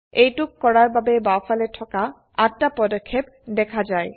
এইটোক কৰাৰ বাবে বাওফালে থকা ৮ টা পদক্ষেপ দেখা যায়